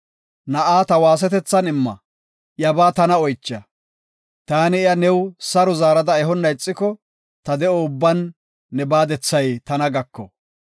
Na7a ta waasetethan imma; iyabaa tana oycha. Taani iya new saro zaarada ehonna ixiko, ta de7o ubban ne baadethay tana gako.